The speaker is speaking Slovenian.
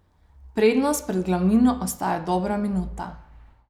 Prednost pred glavnino ostaja dobra minuta.